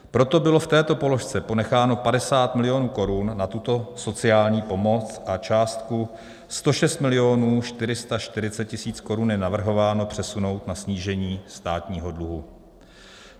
Proto bylo v této položce ponecháno 50 milionů korun na tuto sociální pomoc a částku 106 milionů 440 tisíc korun je navrhováno přesunout na snížení státního dluhu.